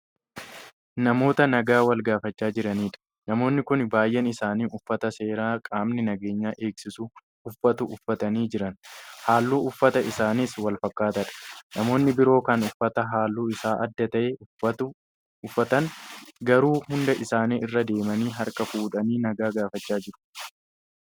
Namoota nagaa wal gaafachaa jiraniidha. namoonni Kuni baay'een isaanii uffata seeraa qaamni nageenya eegsisu uffatu uffatanii Jiran. halluun uffata isaaniis walfakkaataadha. namoonni biroo Kan uffata halluun Isaa adda ta'e uffatan garuu hunda isaanii irra deemanii harka fuudhanii nagaa gaafachaa jiru.